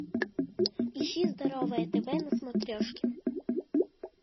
ищи здоровое тв на смотрешке